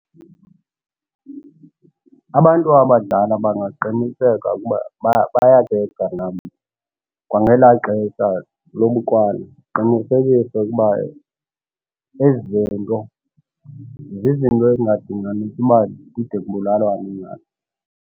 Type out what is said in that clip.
Abantu abadala bangaqiniseka ukuba bayabetha nabo kwangelaa xesha lobukrwala baqinisekisa ukuba ezi zinto zizinto ezingadinganisi uba kude bulalwane ngazo.